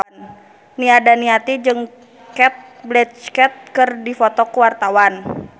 Nia Daniati jeung Cate Blanchett keur dipoto ku wartawan